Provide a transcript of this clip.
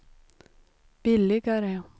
billigare